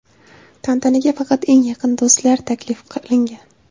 Tantanaga faqat eng yaqin do‘stlar taklif qilingan.